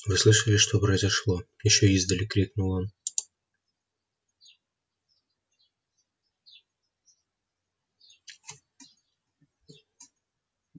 вы слышали что произошло ещё издали крикнул он